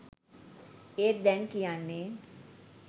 ඒත් දැන් කියන්නේ